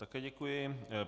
Také děkuji.